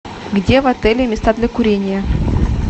где в отеле места для курения